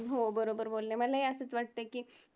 हो बरोबर बोलले, मलाही असंच वाटतंय की